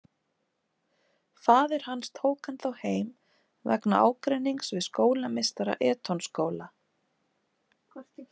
Faðir hans tók hann þá heim vegna ágreinings við skólameistara Eton-skóla.